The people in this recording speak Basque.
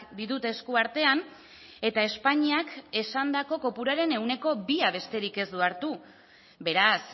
ditut eskuartean eta espainiak esandako kopuruaren ehuneko bia besterik ez du hartu beraz